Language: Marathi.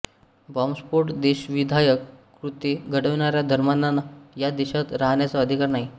बाँबस्फोट देशविघातक कृत्ये घडवणाऱ्या धर्मांधांना या देशात राहण्याचा अधिकार नाही